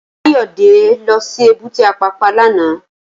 Kayode lò si ébùté Apapa làná